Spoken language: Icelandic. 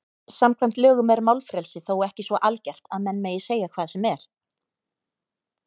Samkvæmt lögum er málfrelsi þó ekki svo algert að menn megi segja hvað sem er.